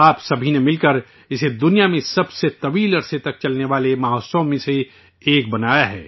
آپ سبھی نے ملک کر اسے دنیا میں سب سے لمبے عرصے تک چلنے والے جشن میں سے ایک بنا دیا